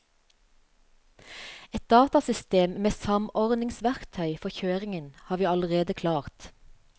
Et datasystem med samordningsverktøy for kjøringen har vi allerede klart.